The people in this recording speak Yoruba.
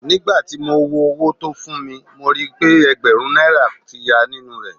Ní gbà ti mo wo owó tó fún mi, mo rí pé Ẹ̀gbẹ̀rún náírà tí yá nínú rẹ́.